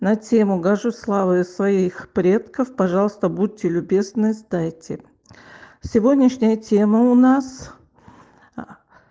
на тему горжусь славою своих предков пожалуйста будьте любезны сдайте сегодняшняя тема у нас